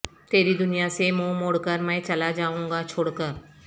تیری دنیا سے منہ موڑ کر میں چلا جائوں گا چھوڑ کر